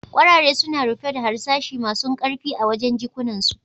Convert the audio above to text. Kwarare suna rufe da harsashi masun karfi a wajen' jikunan su.